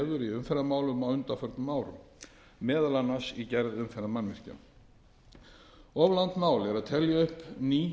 umferðarmálum á undanförnum árum meðal annars í gerð umferðarmannvirkja of langt mál er að telja upp ný